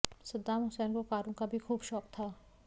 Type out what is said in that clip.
Saddam Hussein को कारों का भी खुब शौक था